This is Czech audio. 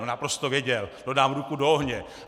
No naprosto věděl, to dám ruku do ohně.